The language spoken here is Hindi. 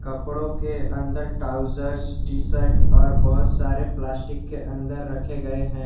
कपड़ों के अंदर ट्राउजर टी शर्ट और बहुत सारे प्लास्टिक के अंदर रखे गए हैं।